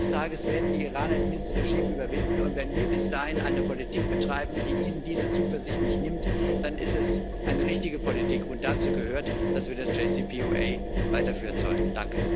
Eines Tages werden die Iraner dieses Regime überwinden, und wenn wir bis dahin eine Politik betreiben, die ihnen diese Zuversicht nicht nimmt, dann ist das eine richtige Politik, und dazu gehört, dass wir das JCPOA weiterführen sollten.